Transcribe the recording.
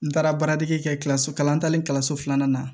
N taara baaradege kɛ kilasi kalan taalen kalanso filanan na